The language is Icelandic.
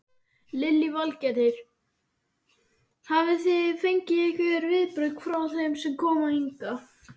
Lillý Valgerður: Hafi þið fengið einhver viðbrögð frá þeim sem koma hingað?